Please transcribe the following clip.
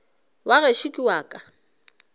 wa gešo ke wa ka